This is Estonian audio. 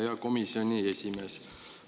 Hea komisjoni esimees!